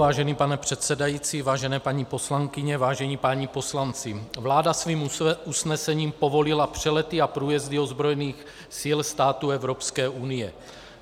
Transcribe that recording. Vážený pane předsedající, vážené paní poslankyně, vážení páni poslanci, vláda svým usnesením povolila přelety a průjezdy ozbrojených sil států Evropské unie.